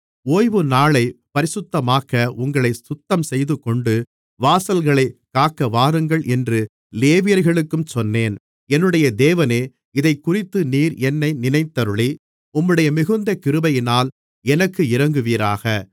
ஓய்வுநாளைப் பரிசுத்தமாக்க உங்களைச் சுத்தம்செய்துகொண்டு வாசல்களைக் காக்க வாருங்கள் என்று லேவியர்களுக்கும் சொன்னேன் என்னுடைய தேவனே இதைக்குறித்து நீர் என்னை நினைத்தருளி உம்முடைய மிகுந்த கிருபையினால் எனக்கு இரங்குவீராக